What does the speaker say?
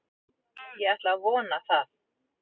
Ég ætla að vona það!